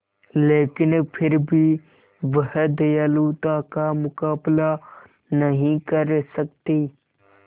लेकिन फिर भी वह दयालुता का मुकाबला नहीं कर सकती